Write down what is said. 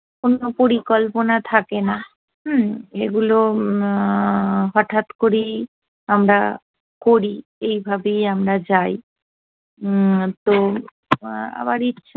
কোনো পরিকল্পনা থাকে না হুম্ম, এগুলো এ্যা হঠাৎ করেই আমরা করি এইভাবেই আমরা যাই, উম্ম তো আবার ইচ্ছে